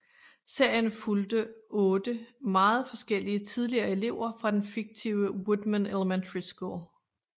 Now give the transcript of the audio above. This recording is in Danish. Serien fulgte otte meget forskellige tidligere elever fra den fiktive Woodman Elementary School